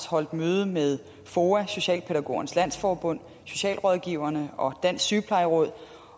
holdt møde med foa socialpædagogernes landsforbund socialrådgiverforeningen og dansk sygeplejeråd